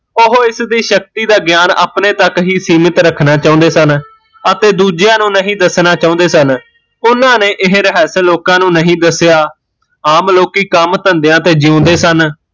ਓਹ ਇਸ ਦੀ ਸ਼ਕਤੀ ਦਾ ਗਿਆਨ ਅਪਣੇ ਤੱਕ ਹੀਂ ਸੀਮਿਤ ਰੱਖਣਾ ਚਾਹੁੰਦੇ ਸਨ ਅਤੇ ਦੂਜਿਆ ਨੂੰ ਨਹੀਂ ਦੱਸਣਾ ਚਾਹੁੰਦੇ ਸਨ ਓਹਨਾਂ ਨੇ ਇਹ ਰਹੱਸ ਲੋਕਾਂ ਨੂੰ ਨਹੀਂ ਦੱਸਿਆ ਆਮ ਲੋਕੀਂ ਕੰਮ ਧੰਦਿਆ ਤੇ ਜਿਊਦੇ ਸਨ